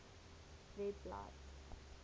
webblad